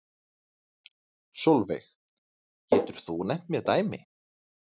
Sólveig: Getur þú nefnt mér dæmi?